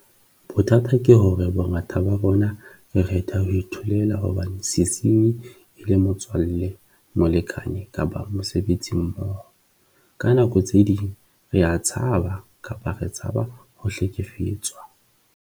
Bothata ke hore bongata ba rona re kgetha ho itholela hobane sesenyi e le motswalle, molekane kapa mosebetsimmoho. Ka nako tse ding rea tshaba kapa re tshaba ho hlekefetswa.